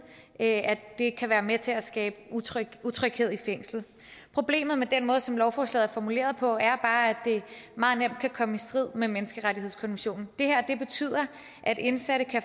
da det kan være med til at skabe utryghed utryghed i fængslet problemet med den måde som lovforslaget er formuleret på er bare at det meget nemt kan komme i strid med menneskerettighedskonventionen det her betyder at indsatte kan